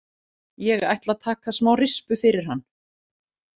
Ég ætla að taka smá rispu fyrir hann.